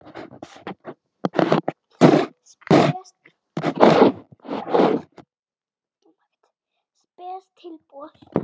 Spes tilboð.